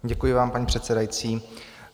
Děkuji vám, paní předsedající.